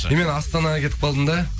и мен астанаға кетіп қалдым да